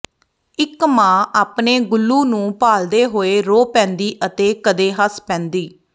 ਇਕ ਮਾਂ ਆਪਣੇ ਗੁਲੂ ਨੂੰ ਭਾਲਦੇ ਹੋਏ ਰੋ ਪੈਂਦੀ ਅਤੇ ਕਦੇ ਹੱਸ ਪੈਂਦੀ